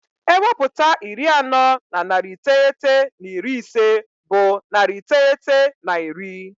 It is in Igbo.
Ewepụta iri anọ na narị iteghete na iri ise bụ narị iteghete na iri.